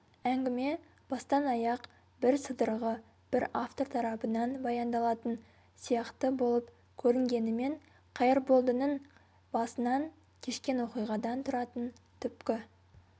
әңгіме бастан-аяқ бірсыдырғы бір автор тарапынан баяндалатын сияқты болып көрінгенімен қайырболдының басынан кешкен оқиғадан тұратын түпкі